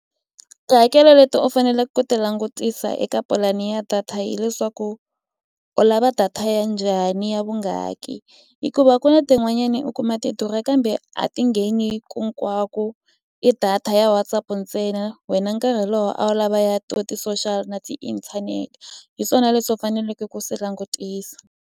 Tihakelo leti u faneleke ku ti langutisa eka pulani ya data hileswaku u lava data ya njhani ya vungaki hikuva ku na tin'wanyani u kuma ti durha kambe se a ti ngheni ku hinkwako i data ya Whatsapp ntsena wena nkarhi lowu a wu lavaya ti-social na tiinthanete hi swona leswi u faneleke ku swi langutisa.